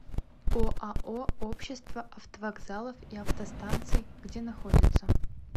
оао общество автовокзалов и автостанций где находится